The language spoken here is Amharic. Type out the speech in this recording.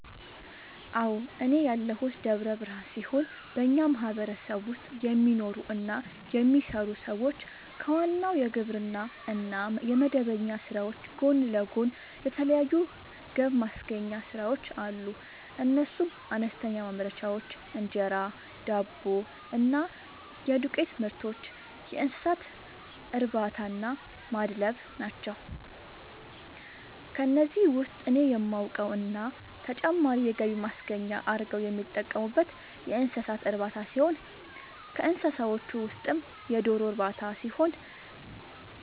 አዎ፤ እኔ ያለሁት ደብረ ብርሃን ሲሆን በኛ ማህበረሰብ ውስጥ የሚኖሩ እና የሚሰሩ ሰዎች ከዋናው የግብርና እና የመደበኛ ስራዎች ጎን ለጎን የተለያዩ ገብማስገኛ ስራዎች አሉ፤ እነሱም፦ አነስተኛ ማምረቻዎች(እንጀራ፣ ዳቦ እና የዱቄትምርቶች)፣የእንሰሳትእርባታናማድለብ ናቸው። ከነዚህ ውስጥ እኔ የማውቀው እና ተጨማሪ የገቢ ማስገኛ አርገው የሚጠቀሙበት የእንሰሳት እርባታ ሲሆን ከእንስሳዎቹ ውስጥም የዶሮ ርባታ ሲሆን፤